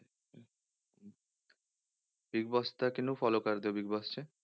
big Boss ਤਾਂ ਕਿਹਨੂੰ follow ਕਰਦੇ ਹੋ ਬਿਗ ਬੋਸ 'ਚ